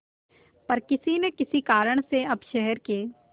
पर किसी न किसी कारण से अब शहर के